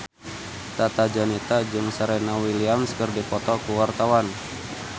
Tata Janeta jeung Serena Williams keur dipoto ku wartawan